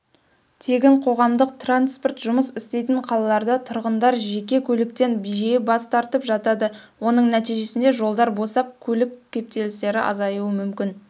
тегін қоғамдық транспорт жұмыс істейтін қалаларда тұрғындар жеке көліктен жиі бас тартып жатады оның нәтижесінде жолдар босап көлік кептелістері азаюы мүмкін